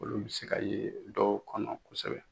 Olu bɛ se ka ye dɔw kɔnɔ kosɛbɛ.